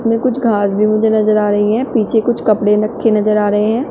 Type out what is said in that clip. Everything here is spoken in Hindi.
इसमें कुछ घांस भी मुझे नजर आ रही है पीछे कुछ कपड़े रक्खे नजर आ रहे हैं।